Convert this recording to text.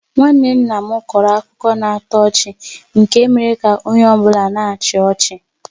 Nwanne nna m kọrọ akụkọ na-atọ ọchị nke mere ka onye ọ bụla na-achị ọchị.